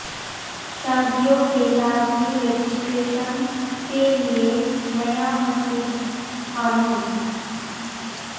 شادیوں کے لازمی رجسٹریشن کے لئے نیا مسودہ قانون